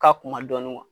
Ka kun ma dɔɔnin